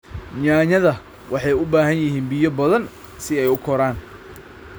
Yaanyada waxay u baahan yihiin biyo badan si ay u koraan.